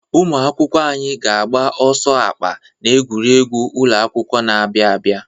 Ụmụ akwụkwọ anyị ga-agba ọsọ akpa n'egwuregwu ụlọ na ụlọ na-abịa abịa.